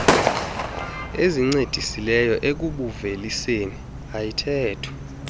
ezincedisileyo ekubuuveliseni ayithethwa